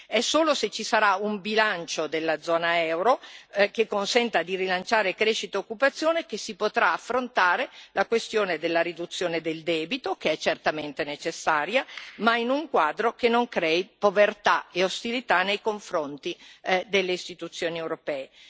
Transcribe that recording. È solo se ci sarà un bilancio della zona euro, che consenta di rilanciare crescita e occupazione, che si potrà affrontare la questione della riduzione del debito, che è certamente necessaria, ma in un quadro che non crei povertà e ostilità nei confronti delle istituzioni europee.